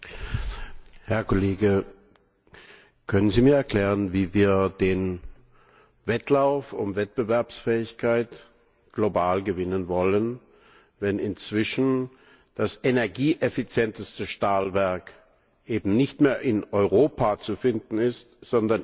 Herr Kollege, können Sie mir erklären, wie wir den Wettlauf um Wettbewerbsfähigkeit global gewinnen wollen, wenn das energieeffizienteste Stahlwerk inzwischen nicht mehr in Europa sondern in China